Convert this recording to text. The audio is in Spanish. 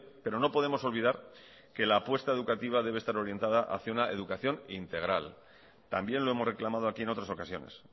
pero no podemos olvidar que la apuesta educativa debe estar orientada hacia una educación integral también lo hemos reclamado aquí en otras ocasiones